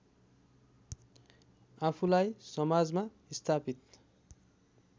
आफूलाई समाजमा स्थापित